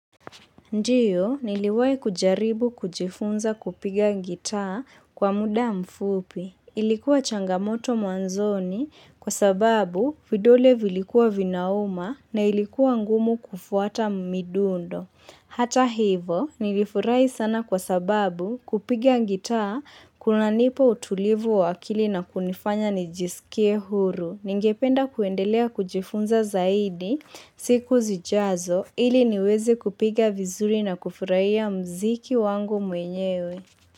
Ndiyo, niliwahi kujaribu kujifunza kupiga gitaa kwa muda mfupi. Ilikuwa changamoto mwanzoni kwa sababu vidole vilikuwa vinauma na ilikuwa ngumu kufuata midundo. Hata hivo, nilifurahi sana kwa sababu kupiga gitaa kunanipa utulivu wa akili na kunifanya nijisikie huru. Ningependa kuendelea kujifunza zaidi siku zijazo ili niweze kupiga vizuri na kufurahia mziki wangu mwenyewe.